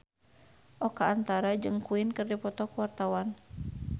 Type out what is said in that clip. Oka Antara jeung Queen keur dipoto ku wartawan